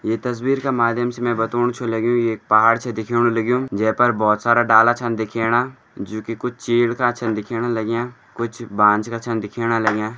ये तस्वीर के माध्यम से में बताणु छौं लगयूं ये एक पहाड़ छै दिख्याणु लगयूं जैपर बहौत सारा डाला छन दिख्येणा जोकि कुछ चीड़ का छन दिख्येणा लाग्यां कुछ बांज का छन दिख्येणा लाग्यां।